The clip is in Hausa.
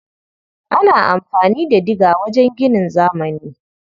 Ana amfani da diga wajen ginin zamani.